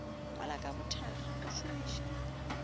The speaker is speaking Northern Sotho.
ngwala ka bothakga o šomiše